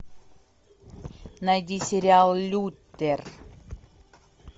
найди сериал лютер